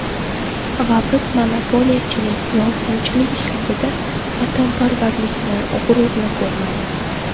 Va biz monopoliyachilik, yolg‘onchilik ishlarida vatanparvarlikni, g‘ururni ko‘rmaymiz.